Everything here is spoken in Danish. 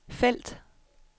felt